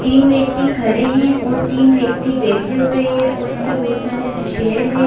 तीन व्यक्ति खड़े हैं और तीन व्यक्ति बैठे हुए हैं और यहाँ पे बहुत सारे चेयर हैं ।